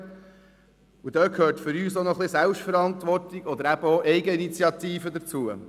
Für uns gehört hier auch ein wenig Selbstverantwortung oder Eigeninitiative dazu.